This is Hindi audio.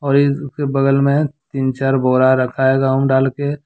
और इस के बगल में तीन चार बोरा रखा है गेहूं डाल के।